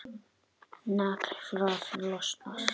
Naglfar losnar.